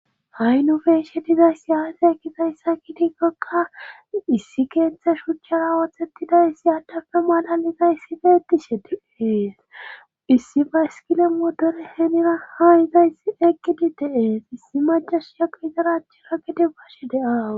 Ha'i nufeshe dizayss yaase ekkizayssa kidikkokka issi keeththe shuchchara ooththettidays iyadafe malaliza issife etishe diees issi bayskile modore heenira haayizays eqqidi deees issi majasha izarachira gede bashe deaawu.